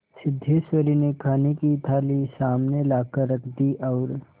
सिद्धेश्वरी ने खाने की थाली सामने लाकर रख दी और